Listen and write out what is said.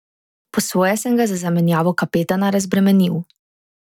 Po svoje sem ga z zamenjavo kapetana razbremenil.